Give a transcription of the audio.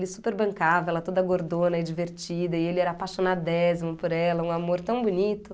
E ele super bancava, ela toda gordona e divertida, e ele era apaixonadésimo por ela, um amor tão bonito.